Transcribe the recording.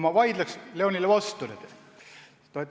Ma vaidleks Leonile vastu.